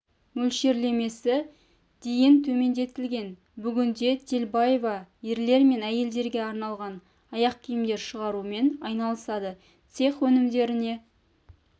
мөлшерлемесі дейін төмендетілген бүгінде телбаева ерлер мен әйелдерге арналған аяқ киімдер шығарумен айналысады цех өнімдеріне